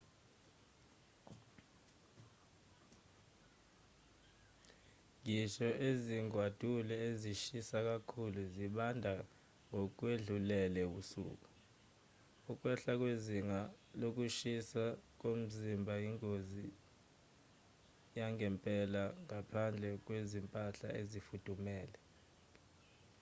ngisho nezingwadule ezishisa kakhulu zibanda ngokwedlulele ebusuku.ukwehla kwezinga lokushisa komzimba ingozi yangempela ngaphandle kwezimpahla ezifudumele